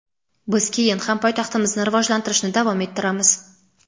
Biz keyin ham poytaxtimizni rivojlantirishni davom ettiramiz.